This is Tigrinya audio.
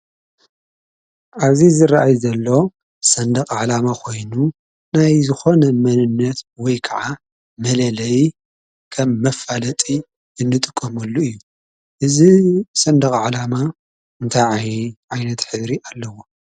ኣብዚ ዝርኣይ ዘሎ ሰንድቕ ዓላማ ኾይኑ ናይ ዝኾነ መንነት ወይ ክዓ መለለዪ ከም መፋለጢ እንጥቀመሉ እዩ። እዚ ሰንድቕ ዓላማ እንታይ ዓይነት ሕብሪ ኣለዎ?